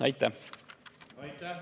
Aitäh!